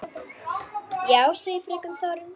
Já, segir fröken Þórunn.